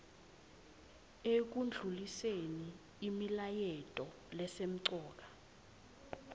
ekundluliseni imilayeto lesemcoka